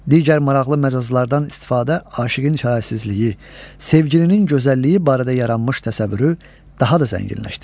Digər maraqlı məcazlardan istifadə aşiqin çarəsizliyi, sevgilinin gözəlliyi barədə yaranmış təsəvvürü daha da zənginləşdirir.